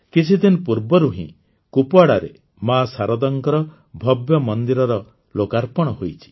କିଛିଦିନ ପୂର୍ବରୁ ହିଁ କୁପ୍ୱାଡ଼ାରେ ମା ଶାରଦାଙ୍କର ଭବ୍ୟ ମନ୍ଦିରର ଲୋକାର୍ପଣ ହୋଇଛି